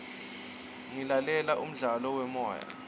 ngilalela umdlalo wemoya